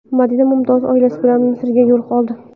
Madina Mumtoz oilasi bilan Misrga yo‘l oldi.